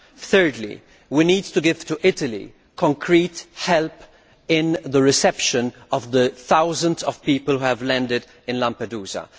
Thirdly, we need to give Italy tangible help with the reception of the thousands of people who have landed in Lampedusa.